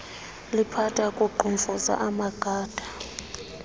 liphatha kuqhumfuza amagada